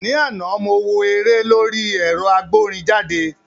Ní àná, mo wo eré lórí ẹ̀rọ agbórinjáde